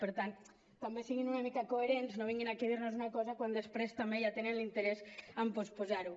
per tant també siguin una mica coherents no vinguin aquí a dir nos una cosa quan després també ja tenen interès a posposar ho